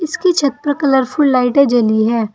इसकी छत पर कलरफुल लाइटें जली हैं।